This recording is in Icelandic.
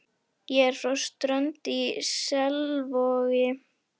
Ég er frá Strönd í Selvogi.